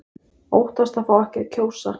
Óttast að fá ekki að kjósa